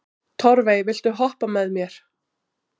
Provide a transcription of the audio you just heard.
Torfey, viltu hoppa með mér?